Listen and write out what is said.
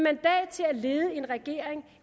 lede en regering